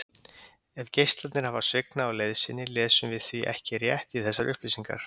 Ef geislarnir hafa svignað á leið sinni lesum við því ekki rétt í þessar upplýsingar.